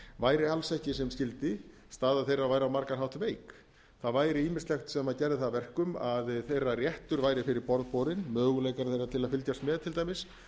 væri alls ekki sem skyldi staða þeirra væri á margan hátt veik það væri ýmislegt sem gerði það að verkum að þeirra réttur væri fyrir borð borinn möguleikar þeirra til að fylgjast með til dæmis